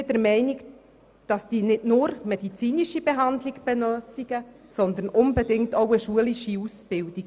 Sie brauchen nicht nur medizinische Behandlung, sondern unbedingt auch eine schulische Ausbildung.